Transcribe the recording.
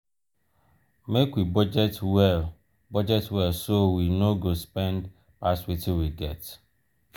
make we budget well budget well so we no go spend pass wetin we get.